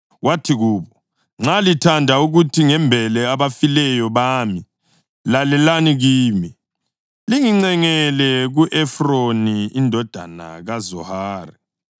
Wathi kubo, “Nxa lithanda ukuthi ngimbele abafileyo bami, lalelani kimi, lingincengele ku-Efroni indodana kaZohari